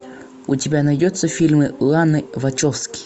у тебя найдется фильмы ланы вачовски